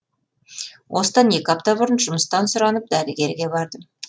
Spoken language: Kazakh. осыдан екі апта бұрын жұмыстан сұранып дәрігерге бардым